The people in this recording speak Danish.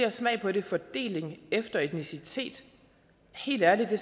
at smage på det fordeling efter etnicitet helt ærligt det